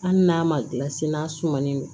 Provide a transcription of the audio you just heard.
Hali n'a ma gilan se n'a sumalen don